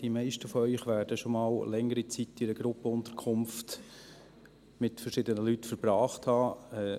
Die meisten von Ihnen werden schon einmal Zeit in einer Gruppenunterkunft mit verschiedenen Leuten verbracht haben.